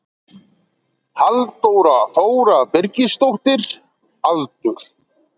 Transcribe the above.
Halldóra Þóra Birgisdóttir Aldur?